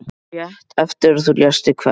Rétt eftir að þú lést þig hverfa.